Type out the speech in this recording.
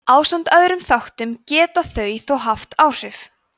ásamt öðrum þáttum geta þau þó haft áhrif